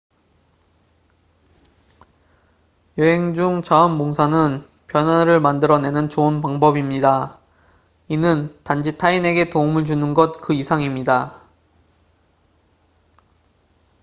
여행 중 자원봉사는 변화를 만들어 내는 좋은 방법입니다 이는 단지 타인에게 도움을 주는 것 그 이상입니다